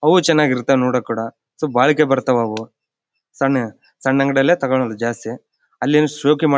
ಅವು ಚೆನ್ನಾಗಿ ಇರ್ತವೆ ನೋಡಕ್ಕೂ ಕೂಡ ಸೊ ಬಾಳಿಕೆ ಬರ್ತಾವು ಅವು ಸಣ್ಣ ಸಣ್ಣ್ ಅಂಗಡಿಯಲ್ಲೇ ತಗೊಂಡು ಜಾಸ್ತಿ ಅಲ್ ಏನು ಶೋಕಿ ಮಾಡ್--